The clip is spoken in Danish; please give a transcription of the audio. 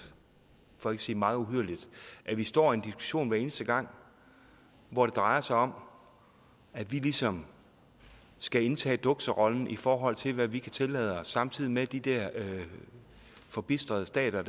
for ikke at sige meget uhyrligt at vi står i en diskussion hver eneste gang hvor det drejer sig om at vi ligesom skal indtage dukserollen i forhold til hvad vi kan tillade os samtidig med at de der forbistrede stater